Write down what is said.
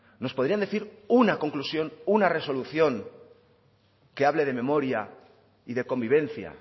nos podrían decir una conclusión una resolución que hable de memoria y de convivencia